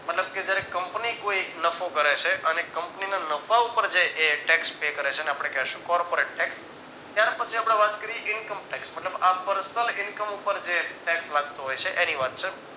મતલબ કે જયારે કંપની કોઈ નફો કરે છે અને કંપનીના નફા પર જે tax pay કરે છે જેને આપણે corporate tax ત્યાર પછી આપણે વાત કરીયે income tax મતલબ આ Personal income ઉપર જે tax લાગતો હોય છે એની વાત છે